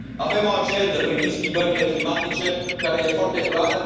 Avem o agendă privind schimbările climatice care este foarte clară.